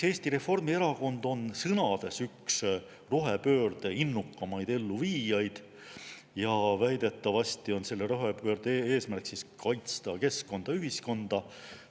Eesti Reformierakond on sõnades üks rohepöörde innukamaid elluviijaid ja väidetavasti on selle rohepöörde eesmärk kaitsta keskkonda, ühiskonda.